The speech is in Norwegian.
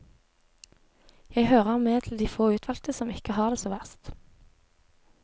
Jeg hører med til de få utvalgte som ikke har det så verst.